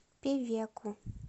певеку